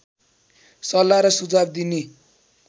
सल्लाह र सुझाव दिने